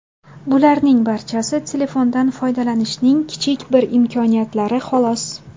Bularning barchasi telefondan foydalanishning kichik bir imkoniyatlari, xolos.